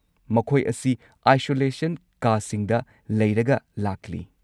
ꯃꯈꯣꯏ ꯑꯁꯤ ꯑꯥꯏꯁꯣꯂꯦꯁꯟ ꯀꯥꯁꯤꯡꯗ ꯂꯩꯔꯒ ꯂꯥꯛꯂꯤ꯫